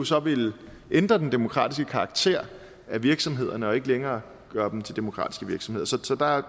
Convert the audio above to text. så ville ændre den demokratiske karakter af virksomhederne og ikke længere gøre dem til demokratiske virksomheder så så der er